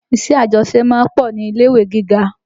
Iṣẹ́ àjọṣe ma ń pọ̀ ní ilé-ìwé gíga